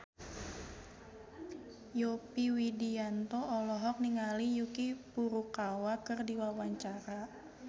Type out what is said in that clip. Yovie Widianto olohok ningali Yuki Furukawa keur diwawancara